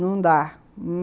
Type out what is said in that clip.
Não dá.